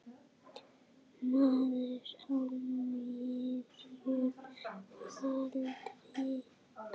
Maður á miðjum aldri.